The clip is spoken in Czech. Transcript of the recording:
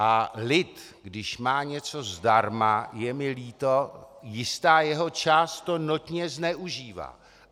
A lid, když má něco zdarma, je mi líto, jistá jeho část to notně zneužívá.